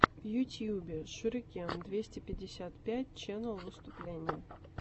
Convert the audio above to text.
в ютюбе шурикен двести пятьдесят пять ченел выступление